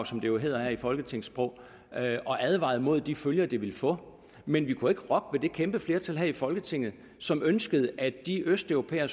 som det jo hedder i folketingssprog og advarede imod de følger det ville få men vi kunne ikke rokke ved det kæmpe flertal her i folketinget som ønskede at de østeuropæere